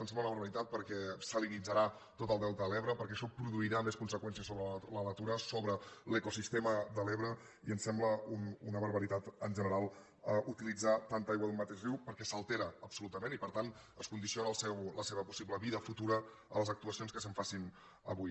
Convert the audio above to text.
ens sembla una barbaritat perquè salinitzarà tot el delta de l’ebre perquè això produirà més conseqüències sobre la natura sobre l’ecosistema de l’ebre i ens sembla una barbaritat en general utilitzar tanta aigua d’un mateix riu perquè s’altera absolutament i per tant es condiciona la seva possible vida futura a les actuacions que s’hi facin avui